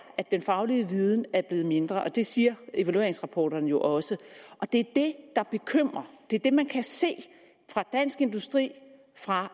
at den faglige viden er blevet mindre og det siger evalueringsrapporterne jo også det er det der bekymrer det er det man kan se fra dansk industris og fra